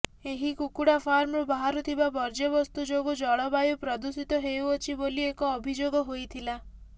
ଏହି କୁକୁଡା ଫାର୍ମରୁ ବାହାରୁଥିବା ବର୍ଜ୍ୟବସ୍ତୁ ଯୋଗୁଁ ଜଳବାୟୁ ପ୍ରଦୁଷିତ ହେଉଅଛି ବୋଲି ଏକ ଅଭିଯୋଗ ହୋଇଥିଲା